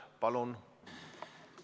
Palun!